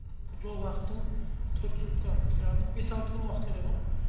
жол уақытың төрт сутка яғни бес алты күн уақыт керек ау